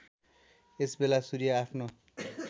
यसबेला सूर्य आफ्नो